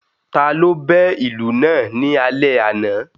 Ta ló bẹ́ ìlù náà ni alẹ́ àná?